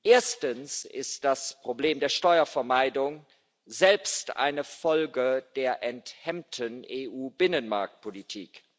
Erstens ist das Problem der Steuervermeidung selbst eine Folge der enthemmten EU Binnenmarktpolitik.